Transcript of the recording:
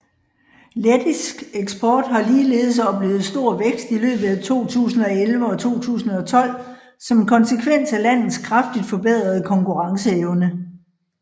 Lettisk eksport har ligeledes oplevet stor vækst i løbet af 2011 og 2012 som konsekvens af landets kraftigt forbedrede konkurrenceevne